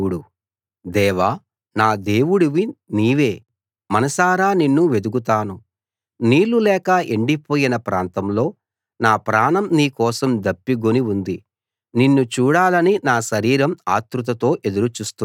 దేవా నా దేవుడివి నీవే మనసారా నిన్ను వెదుకుతాను నీళ్లు లేక ఎండిపోయిన ప్రాంతంలో నా ప్రాణం నీకోసం దప్పిగొని ఉంది నిన్ను చూడాలని నా శరీరం ఆత్రుతతో ఎదురు చూస్తున్నది